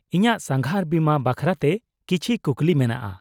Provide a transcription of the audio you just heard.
-ᱤᱧᱟᱹᱜ ᱥᱟᱸᱜᱷᱟᱨ ᱵᱤᱢᱟ ᱵᱟᱠᱷᱨᱟᱛᱮ ᱠᱤᱪᱷᱤ ᱠᱩᱠᱞᱤ ᱢᱮᱱᱟᱜᱼᱟ ?